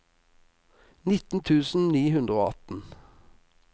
nitten tusen ni hundre og atten